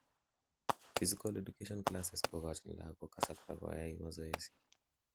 physical education classes kogochin lagok kasarta koyai masoesi